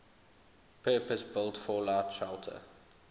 purpose built fallout shelter